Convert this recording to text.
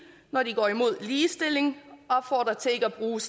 når de går imod ligestilling opfordrer til ikke at bruge